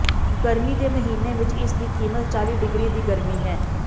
ਗਰਮੀ ਦੇ ਮਹੀਨੇ ਵਿਚ ਇਸ ਦੀ ਕੀਮਤ ਚਾਲੀ ਡਿਗਰੀ ਦੀ ਗਰਮੀ ਹੈ